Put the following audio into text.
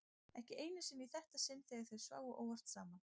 Ekki einu sinni í þetta sinn þegar þau sváfu óvart saman.